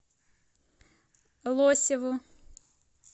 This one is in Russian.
лосеву